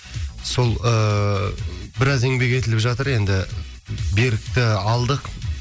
сол ыыы біраз еңбек етіліп жатыр енді берікті алдық